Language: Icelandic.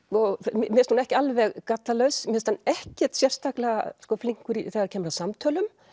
mér finnst hún ekki alveg gallalaus mér finnst hann ekkert sérstaklega flinkur þegar kemur að samtölum